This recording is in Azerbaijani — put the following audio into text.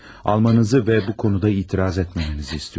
Almanızı və bu konuda etiraz etməmənizi istəyirəm.